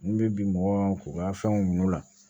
N bɛ bi mɔgɔ ka fɛnw ɲin'u la